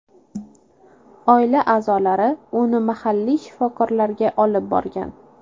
Oila a’zolari uni mahalliy shifokorlarga olib brogan.